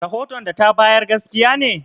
Rahoton da ta bayar gaskiya ne?